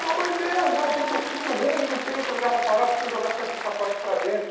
Pelo amor de Deus, eu vim do fim do mundo, não tem outro lugar para parar, eu preciso jogar só esses pacotes para dentro.